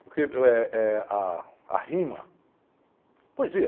Porque eh eh ah a rima... Poesia.